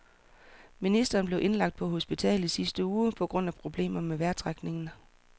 Ministeren blev indlagt på hospital i sidste uge på grund af problemer med vejrtrækningen.